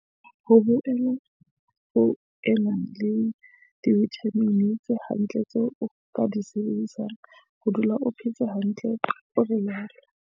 "Ho boela ho ena le divithamini tse hantle tseo o ka di sebedisang ho dula o phetse hantle," o rialo.